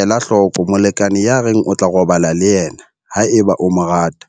Ela hloko molekane ya reng o tla robala le yena haeba o mo rata.